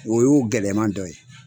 O y'o gɛlɛman dɔ ye.